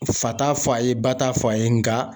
Fa t'a fɔ a ye ba t'a fɔ a ye nga